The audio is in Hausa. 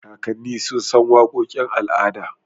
Kakanni sun san waƙoƙin al'adu.